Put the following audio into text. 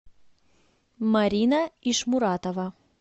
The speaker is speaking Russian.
марина ишмуратова